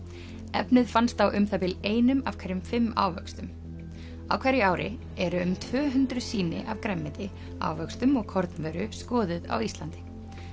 efnið fannst á um það bil einum af hverjum fimm ávöxtum á hverju ári eru um tvö hundruð sýni af grænmeti ávöxtum og kornvöru skoðuð á Íslandi